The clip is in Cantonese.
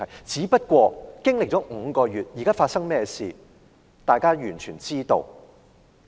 只不過經歷了5個月，現在發生甚麼事，大家完全知道了。